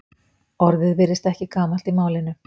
Orðið virðist ekki gamalt í málinu.